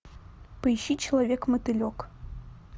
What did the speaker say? поищи человек мотылек